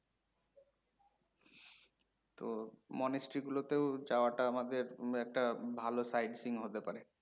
তো, monastery গুলোতে ও যাওয়া টা আমাদের একটা ভালো sightseeing হতে পারে।